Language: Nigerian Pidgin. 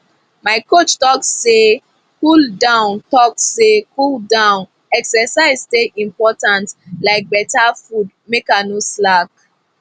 my coach talk say cooldown talk say cooldown exercise dey important like better food make i no slack